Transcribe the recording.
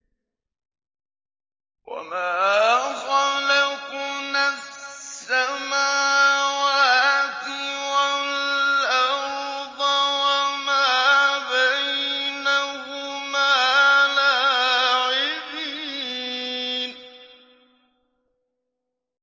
وَمَا خَلَقْنَا السَّمَاوَاتِ وَالْأَرْضَ وَمَا بَيْنَهُمَا لَاعِبِينَ